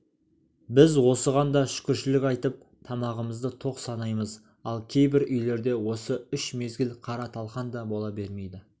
біз осыған да шүкіршілік айтып тамағымызды тоқ санаймыз ал кейбір үйлерде осы үш мезгіл қара талқан да бола бермейді